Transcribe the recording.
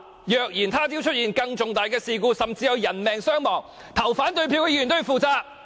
若日後出現更重大的事故，甚至有人命傷亡，表決反對這項議案的議員必須負上責任。